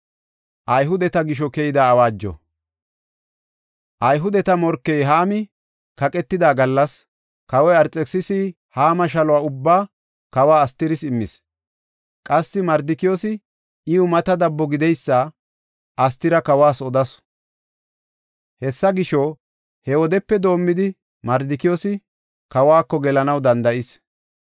Ayhudeta morkey Haami kaqetida gallas kawoy Arxekisisi Haama shaluwa ubbaa kawe Astiris immis. Qassi Mardikiyoosi iw mata dabbo gideysa Astira kawas odasu. Hessa gisho, he wodepe doomidi, Mardikiyoosi kawako gelanaw danda7is.